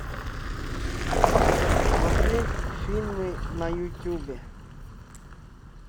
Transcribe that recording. смотреть фильмы на ютюбе